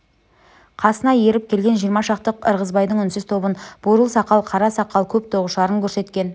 қасына еріп келген жиырма шақты ырғызбайдың үнсіз тобын бурыл сақал қара сақал көп тоғышарын көрсеткен